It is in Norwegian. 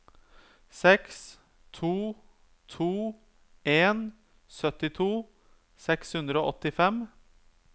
seks to to en syttito seks hundre og åttifem